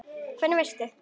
Hvernig veist þú.?